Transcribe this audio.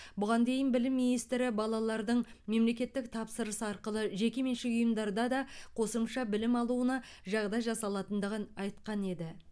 бұған дейін білім министрі балалардың мемлекеттік тапсырыс арқылы жекеменшік ұйымдарда да қосымша білім алуына жағдай жасалатындығын айтқан еді